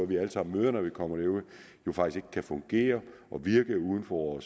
vi alle sammen møder når vi kommer derud jo faktisk ikke kan fungere og virke uden for